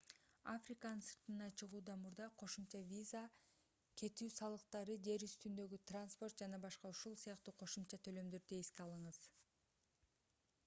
африканын сыртына чыгуудан мурда кошумча виза кетүү салыктары жер үстүндөгү транспорт ж.б.у.с. кошумча төлөмдөрдү эске алыңыз